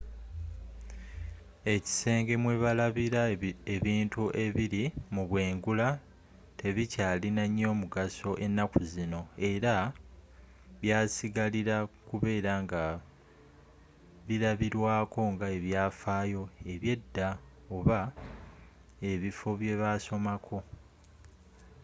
ekisenge mwe balabira ebintu ebiri mu bwengula tebikyalina nyo mugaso ennaku zino era byasigarila kubela nga birabirwako nga ebyafaayo ebye dda oba ebifo byebasomako